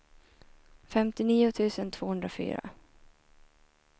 femtionio tusen tvåhundrafyra